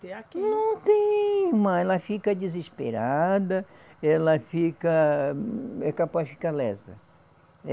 Não tem mãe, ela fica desesperada, ela fica, é capaz de ficar lesa.